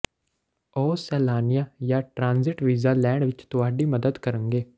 ਉਹ ਸੈਲਾਨੀਆਂ ਜਾਂ ਟ੍ਰਾਂਜ਼ਿਟ ਵੀਜ਼ਾ ਲੈਣ ਵਿਚ ਤੁਹਾਡੀ ਮਦਦ ਕਰਨਗੇ